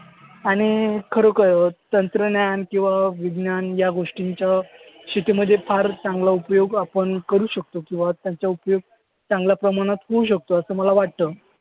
आणि खरोखर तंत्रज्ञान किंवा विज्ञान या गोष्टींचा शेतीमध्ये फार चांगला उपयोग आपण करू शकतो. किंवा त्यांचा उपयोग चांगल्या प्रमाणात होऊ शकतो असं मला वाटतं.